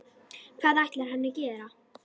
Hvað ætlar hann að gera?